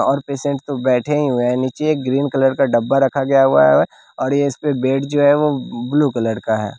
और पेशेंट तो बैठे हुए है नीचे ग्रीन कलर का डब्बा रखा गया हुआ है और इसपे बेड जो है वह ब्लू कलर का है।